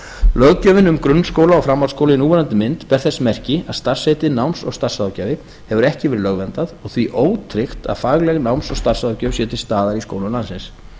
löggjöfin um grunnskóla og framhaldsskóla í núverandi mynd ber þess merki að starfsheitið náms og starfsráðgjafi hefur ekki verið lögverndað og því ótryggt að fagleg náms og starfsráðgjöf sé til staðar í skólum landsins